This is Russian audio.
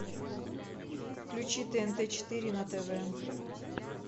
включи тнт четыре на тв